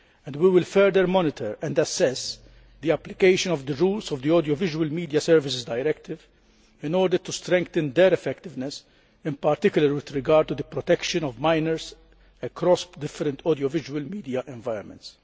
We will also further monitor and assess the application of the rules of the Audiovisual Media Services Directive in order to strengthen their effectiveness, in particular with regard to the protection of minors, across different audiovisual media environments.